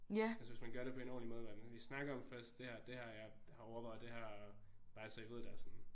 Altså hvis man gør det på en ordenlig måde hvor man lige snakker om først det her det jeg har overvejet det her bare så I ved det og sådan